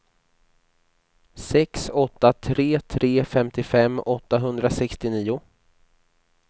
sex åtta tre tre femtiofem åttahundrasextionio